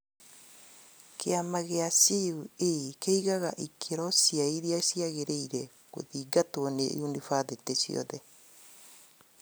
Kĩama gía CUE kĩigaga ikĩro cia iria ciagĩrĩrĩire gũthingatwo nĩ yunibathitĩ ciothe